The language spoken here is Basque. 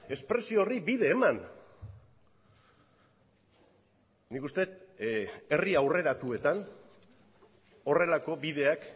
espresio horri bide eman nik uste dut herri aurreratuetan horrelako bideak